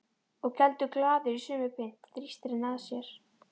Og geldur glaður í sömu mynt, þrýstir henni að sér.